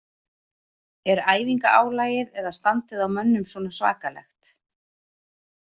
Er æfinga álagið eða standið á mönnum svona svakalegt?